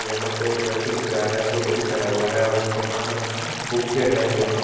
यहां पे एक व्यक्ति दिख रहा है जो टोपी पहना हुआ है और उसके हाथ में बुके है यहां--